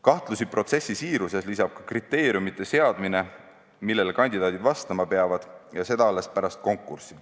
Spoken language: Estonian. Kahtlusi protsessi siiruses lisab ka kriteeriumide seadmine, millele kandidaadid vastama peavad ja seda alles pärast konkurssi.